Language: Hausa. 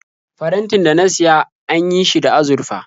Farantin da na siya an yi shi da azurfa.